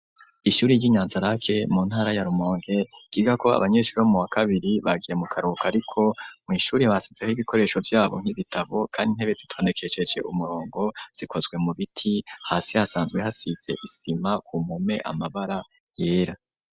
Ishuri ry'Inyanzarake mu ntara ya Rumonge ryigako abanyeshuri bo mu wa kabiri bagiye mu karohuka ariko mw'ishuri basezeho ibikoresho vyabo nk'ibitabo, kandi intebe zitondekesheje umurongo zikozwe mu biti, hasi hasanzwe hasize isima ku mpome amabara yera.